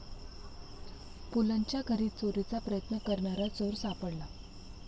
पुलंच्या घरी चोरीचा प्रयत्न करणारा चोर सापडला